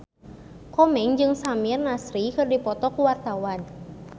Komeng jeung Samir Nasri keur dipoto ku wartawan